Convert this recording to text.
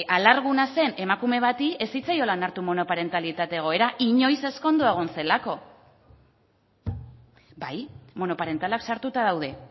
alarguna zen emakume bati ez zitzaiola onartu monoparentalitate egoera inoiz ezkondua egon zelako bai monoparentalak sartuta daude